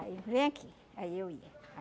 Aí vem aqui, aí eu ia.